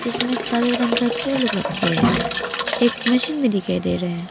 इसमे काले रंग का चेयर लोग रखे हैं एक मशीन में दिखाई दे रहे है।